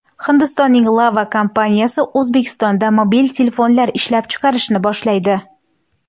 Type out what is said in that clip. Hindistonning Lava kompaniyasi O‘zbekistonda mobil telefonlar ishlab chiqarishni boshlaydi.